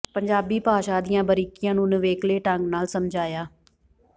ਪੰਜਾਬੀ ਭਾਸ਼ਾ ਦੀਆਂ ਬਾਰੀਕੀਆਂ ਨੂੰ ਨਿਵੇਕਲੇ ਢੰਗ ਨਾਲ ਸਮਝਾਇਆ